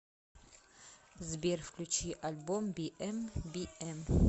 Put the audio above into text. сбер включи альбом биэм би эм